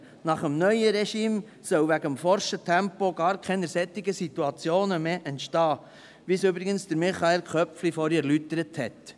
Nach dem neuen Regime sollen aufgrund des forschen Tempos gar keine derartigen Situationen mehr entstehen, wie es übrigens Michael Köpfli vorhin erläutert hat.